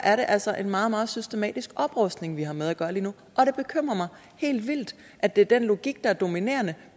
er det altså en meget meget systematisk oprustning vi har med at gøre lige nu og det bekymrer mig helt vildt at det er den logik der er dominerende